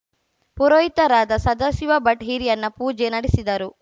ಪುರೋಹಿತರಾದ ಸದಾಶಿವ ಭಟ್‌ ಹಿರಿಯಣ್ಣ ಪೂಜೆ ನಡೆಸಿದರು